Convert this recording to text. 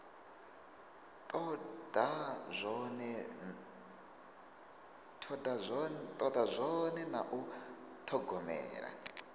toda zwone na u thogomela